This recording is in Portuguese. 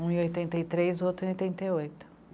Um em oitenta e três, o outro em oitenta e oito.